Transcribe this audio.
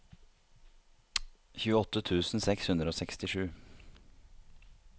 tjueåtte tusen seks hundre og sekstisju